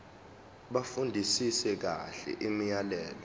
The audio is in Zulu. bafundisise kahle imiyalelo